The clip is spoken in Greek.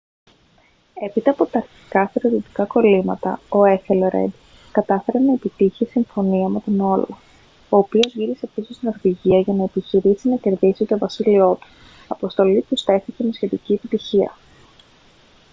έπειτα από τα αρχικά στρατιωτικά κωλύματα ο έθελρεντ κατάφερε να επιτύχει συμφωνία με τον όλαφ ο οποίος γύρισε πίσω στη νορβηγία για να επιχειρήσει να κερδίσει το βασίλειό του αποστολή που στέφθηκε με σχετική επιτυχία